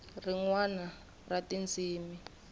rin wana ra tindzimi ta